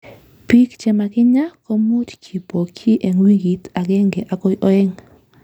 Bik chemakinya komuch kibokyi en wikit agenge agoi oeng'.